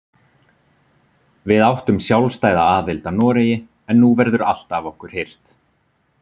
Við áttum sjálfstæða aðild að Noregi en nú verður allt af okkur hirt.